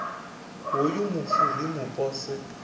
hoyu mufu ri mu pose